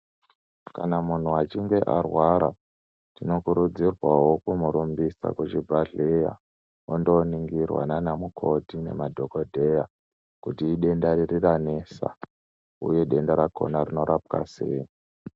Kana munhu achinge arwara, tinokurudzirwawo kumurumbisa kuchibhahleya ondoringirwa naana mukoti nemadhogodheya kuti idenda riri ranesa uye denda rakona rinorapwa sei.